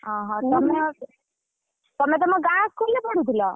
ଓହୋ ତମେ ତମେ ତମ ଗାଁ school ରେ ପଢୁଥିଲ?